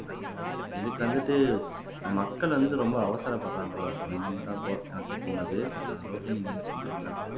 இதுக்கு வந்துட்டு மக்கள் வந்து ரொம்ப அவசரபடுறாங்களோ அப்படின்னுதான் எனக்கு தோணுது ஆஹ் ரோஹினி நீங்க சொல்றீங்களா